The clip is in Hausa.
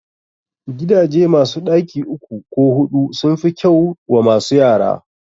Gidaje masu ɗaki uku ko huɗu sun fi kyau wa masu yara